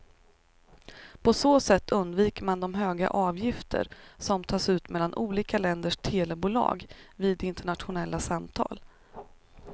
På så sätt undviker man de höga avgifter som tas ut mellan olika länders telebolag vid internationella samtal.